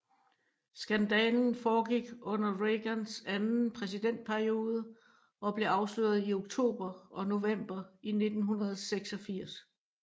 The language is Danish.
Skandalen foregik under Reagans anden præsidentperiode og blev afsløret i oktober og november i 1986